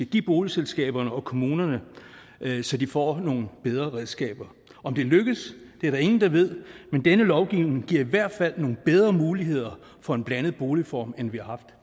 give boligselskaberne og kommunerne så de får nogle bedre redskaber om det lykkes er der ingen der ved men denne lovgivning giver i hvert fald nogle bedre muligheder for en blandet boligform end vi har haft